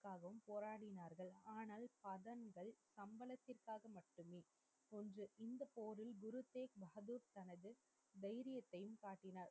போராடினார்கள். ஆனால் தங்களுக்கு தாக மட்டுமே என்று இந்த போரில் தைரியத்தையும் காட்டினார்.